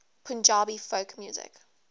punjabi folk music